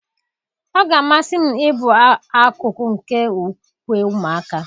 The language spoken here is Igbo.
Ọ ga-amasị m ịbụ akụkụ nke ukwe ụmụaka